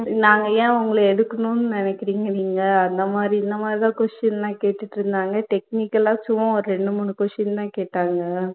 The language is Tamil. நாங்க ஏன் உங்கள எடுக்கணுன்னு நினைக்கிறிங்க நீங்க அந்த மாதிரி இந்த மாதிரிதான் question லாம் கேட்டுட்டுருந்தாங்க technical ஆ சும்ம ஒரு ரெண்டு, மூனு question தான் கேட்டாங்க